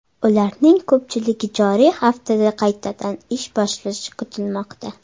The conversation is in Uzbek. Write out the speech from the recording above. Ularning ko‘pchiligi joriy haftada qaytadan ish boshlashi kutilmoqda.